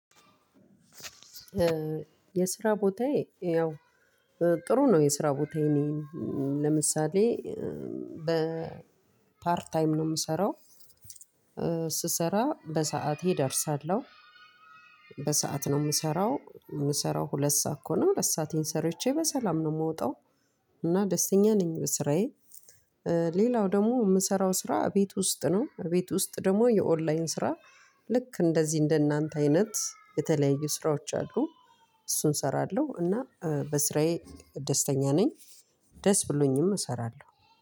የስራ ቦታዬ ያው ጥሩ ነው የስራ ቦታዬ እኔ ለምሳሌ በፓርት ታይም ነው የምሰራው። ስሰራ በሰአቴ ደርሳለሁ በሰአት ነው የምሰራው ምሰራው ሁለት ሰዓት ከሆነ ሁለት ሰአቴን ሰርቼ በሰላም ነው ምወጣው። ደስተኛ ነኝ በስራዬ። ሌላው ደግሞ ምሰራው ስራ ቤት ውስጥ ደግሞ የኦን ላይን ስራ ልክ እንደዚህ እንደናንተ አይነት የተለያዩ ስራዎች አሉ። እሱን እሰራለሁ እና በስራዬ ደስተኛ ነኝ። ደስ ብሎኝም እሰራለሁ